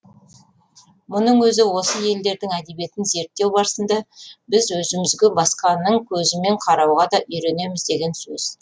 мұның өзі осы елдердің әдебиетін зерттеу барысында біз өзімізге басқаның көзімен қарауға да үйренеміз деген сөз